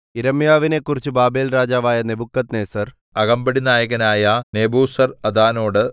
യിരെമ്യാവിനെക്കുറിച്ച് ബാബേൽരാജാവായ നെബൂഖദ്നേസർ അകമ്പടിനായകനായ നെബൂസർഅദാനോട്